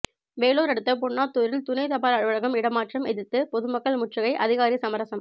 வேலூர் அடுத்த பென்னாத்தூரில் துணை தபால் அலுவலகம் இடமாற்றம் எதிர்த்து பொதுமக்கள் முற்றுகை அதிகாரி சமரசம்